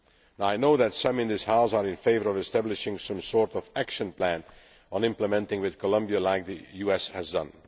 Now, I know that some in this House are in favour of establishing some sort of action plan on implementation with Colombia, as the USA has